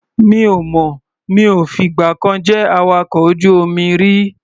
Mi ò mọ̀. Mi ò fìgbà kan jẹ́ awakọ̀ ojú-omi rí.